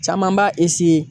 Caman b'a